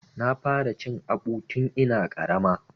Na fara cin aɓu tun ina ƙarama.